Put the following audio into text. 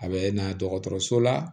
A bɛ na dɔgɔtɔrɔso la